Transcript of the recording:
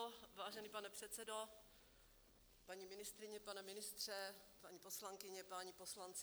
Vážený pane předsedo, paní ministryně, pane ministře, paní poslankyně, páni poslanci.